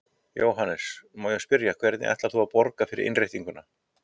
Jóhannes: Má ég spyrja, hvernig ætlarðu að borga fyrir innréttinguna?